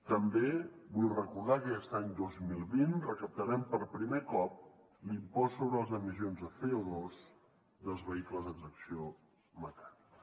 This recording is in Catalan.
també vull recordar que aquest any dos mil vint recaptarem per primer cop l’impost sobre les emissions de code tracció mecànica